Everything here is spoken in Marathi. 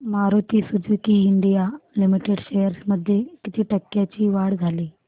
Maruti Suzuki India Limited shares मध्ये किती टक्क्यांची वाढ झाली